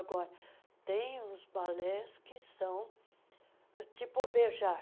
Agora, tem os balés que são tipo beijar,